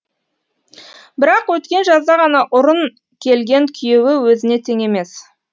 бірақ өткен жазда ғана ұрын келген күйеуі өзіне тең емес